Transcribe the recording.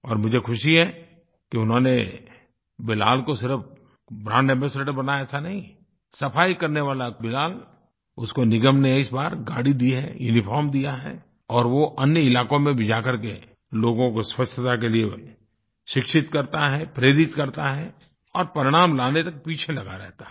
और मुझे ख़ुशी है कि उन्होंने बिलाल को सिर्फ ब्रांड एम्बासाडोर बनाया ऐसा नहीं है सफ़ाई करने वाले बिलाल उसको निगम ने इस बार गाड़ी दी है यूनिफॉर्म दिया है और वो अन्य इलाक़ों में भी जाकर के लोगों को स्वच्छता के लिए शिक्षित करता है प्रेरित करता है और परिणाम लाने तक पीछे लगा रहता है